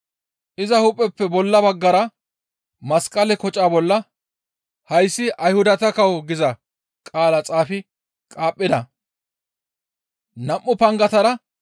Iza hu7eppe bolla baggara masqale koca bolla, «Hayssi Ayhudata kawo» giza qaala xaafi qaaphida.